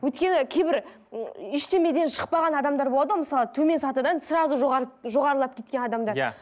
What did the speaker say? өйткені кейбір ештемеден шықпаған адамдар болады ғой мысалы төмен сатыдан сразу жоғарлап кеткен адамдар иә